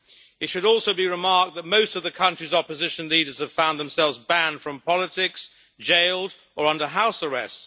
It should also be remarked that most of the country's opposition leaders have found themselves banned from politics, jailed or under house arrest.